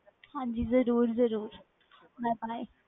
ਹਾਜੀ ਜਰੂਰ ਜਰੂਰ